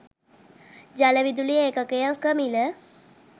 ජලවිදුලි ඒකකයක මිල